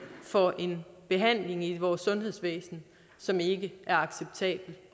for en behandling i vores sundhedsvæsen som ikke er acceptabel